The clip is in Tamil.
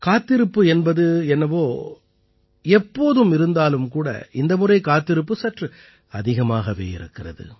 காத்திருப்பு என்பது என்னவோ எப்போதும் இருந்தாலும் கூட இந்த முறை காத்திருப்பு சற்று அதிகமாகவே இருக்கிறது